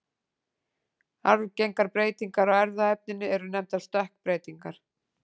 Arfgengar breytingar á erfðaefninu eru nefndar stökkbreytingar.